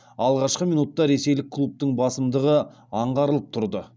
алғашқы минутта ресейлік клубтың басымдығы аңғарылып тұрды